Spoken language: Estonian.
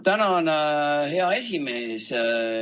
Tänan, hea esimees!